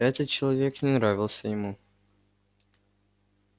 этот человек не нравился ему